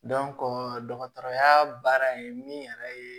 dɔgɔtɔrɔya baara in min yɛrɛ ye